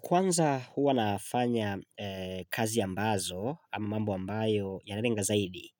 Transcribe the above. Kwanza hua nafanya kazi ambazo ama mambo ambayo yanarenga zaidi